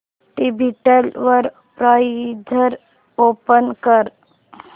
tablet वर browser open कर